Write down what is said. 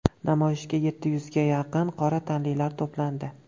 Namoyishga yetti yuzga yaqin qora tanlilar to‘plandi.